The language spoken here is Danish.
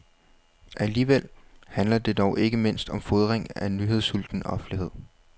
Alligevel handler det dog ikke mindst om fodring af en nyhedssulten offentlighed.